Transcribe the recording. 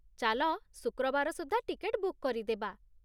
ଚାଲ ଶୁକ୍ରବାର ସୁଦ୍ଧା ଟିକେଟ ବୁକ୍ କରିଦେବା?